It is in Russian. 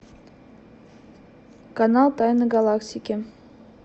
канал тайны галактики